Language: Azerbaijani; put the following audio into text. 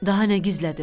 Daha nə gizlətdim?